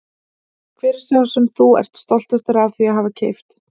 Hver er sá sem þú ert stoltastur af því að hafa keypt?